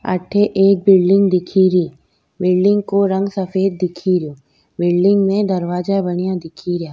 अठे एक बिल्डिंग दिखेरी बिल्डिंग को रंग सफ़ेद दिखेरयो बिल्डिंग में दरवाजा बनया दिखेरिया।